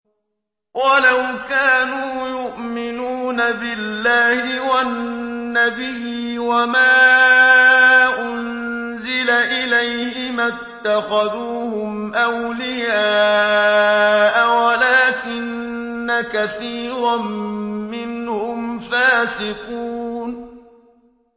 وَلَوْ كَانُوا يُؤْمِنُونَ بِاللَّهِ وَالنَّبِيِّ وَمَا أُنزِلَ إِلَيْهِ مَا اتَّخَذُوهُمْ أَوْلِيَاءَ وَلَٰكِنَّ كَثِيرًا مِّنْهُمْ فَاسِقُونَ